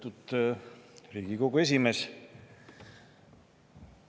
Lugupeetud Riigikogu esimees!